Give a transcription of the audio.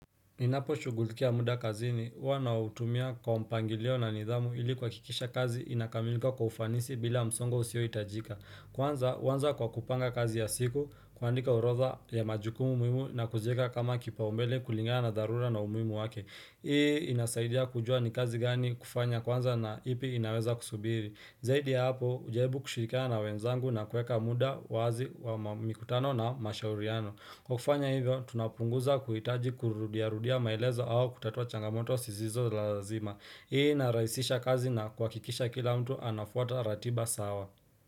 Ninaposhughulikia muda kazini, huwa nautumia kwa mpangilio na nidhamu ili kuhakikisha kazi inakamilika kwa ufanisi bila msongo usiohitajika. Kwanza, huanza kwa kupanga kazi ya siku, kuandika orodha ya majukumu muhimu na kuziweka kama kipaumbele kulingana na dharura na umuhimu wake. Hii inasaidia kujua ni kazi gani kufanya kwanza na ipi inaweza kusubiri. Zaidi ya hapo, hujaribu kushirikiana na wenzangu na kueka muda wazi wa mikutano na mashauriano. Kwa kufanya hivyo, tunapunguza kuhitaji kurudiarudia maelezo au kutatua changamoto sizizo lazima. Hii inarahisisha kazi na kuhakikisha kila mtu anafuata ratiba sawa.